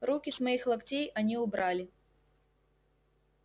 руки с моих локтей они убрали